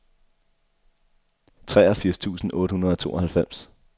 treogfirs tusind otte hundrede og tooghalvfems